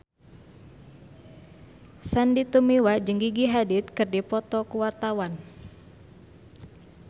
Sandy Tumiwa jeung Gigi Hadid keur dipoto ku wartawan